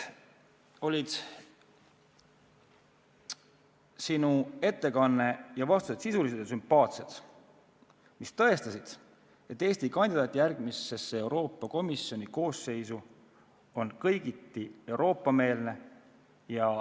Sinu ettekanne ja vastused olid sisulised ja sümpaatsed ning tõestasid, et Eesti kandidaat järgmisesse Euroopa Komisjoni koosseisu on kõigiti Euroopa-meelne.